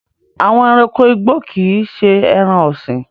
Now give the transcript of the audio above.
Àwọn ẹranko igbó kì í ṣé ẹran-ọ̀sìn.